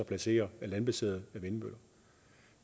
placere landbaserede vindmøller